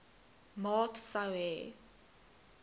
maat sou hê